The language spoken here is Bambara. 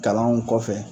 Kalanw kɔfɛ